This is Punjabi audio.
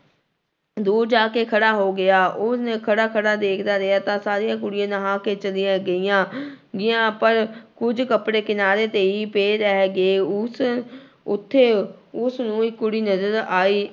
ਦੂਰ ਜਾ ਕੇ ਖੜਾ ਹੋ ਗਿਆ, ਉਸਨੇ ਖੜਾ ਖੜਾ ਦੇਖਦਾ ਰਿਹਾ ਤਾਂ ਸਾਰੀਆਂ ਕੁੜੀਆਂ ਨਹਾ ਕੇ ਚਲੀਆਂ ਗਈਆਂ ਗਈਆਂ ਪਰ ਕੁੱਝ ਕੱਪੜੇ ਕਿਨਾਰੇ ਤੇ ਹੀ ਪਏ ਰਹਿ ਗਏ, ਉਸ ਉੱਥੇ ਉਸਨੂੰ ਇੱਕ ਕੁੜੀ ਨਜ਼ਰ ਆਈ।